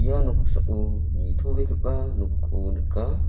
ia noksao nitobegipa nokko nika.